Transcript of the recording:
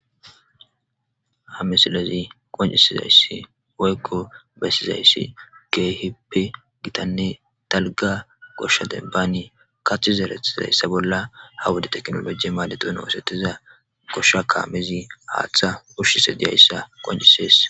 ha misilezi qoncisizayssi woykko bessizayssi keehippe gitanne talga goshsha dembani kaththi zeretizayssa bolla ha wude teknolojie maalexon oosetiza goshsha kaamezi haaththa ushshise diyayssa qoncisees